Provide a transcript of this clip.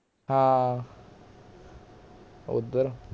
ਹਾਂ ਓਧਰ